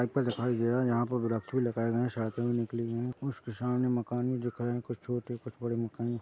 दिखाई दे रहा है यहाँ पर भी लगाए गए है सड़कें भी निकली वी है उसके सामे मकान भी दिख रहे है कुछ छोटे कुछ बड़े मकान --